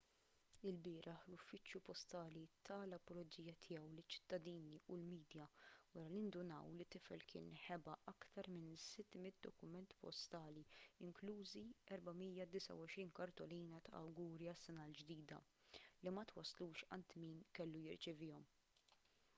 ilbieraħ l-uffiċċju postali ta l-apoloġija tiegħu liċ-ċittadini u l-midja wara li ndunaw li t-tifel kien ħeba aktar minn 600 dokument postali inklużi 429 kartolina ta' awguri għas-sena l-ġdida li ma twasslux għand min kellu jirċevihom